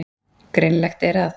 Greinilegt er að